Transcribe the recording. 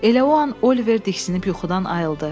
Elə o an Oliver diksinib yuxudan ayrıldı.